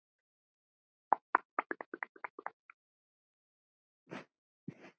Helga: Hvernig varð þér við?